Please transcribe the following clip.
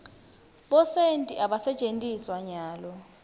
bosenti abasentjetiswa nyalo